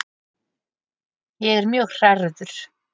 Ég er mjög hrærður.